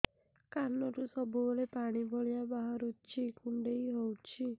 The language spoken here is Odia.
କାନରୁ ସବୁବେଳେ ପାଣି ଭଳିଆ ବାହାରୁଚି କୁଣ୍ଡେଇ ହଉଚି